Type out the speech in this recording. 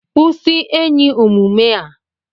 Kwụsị enyi omume a!